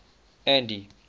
andy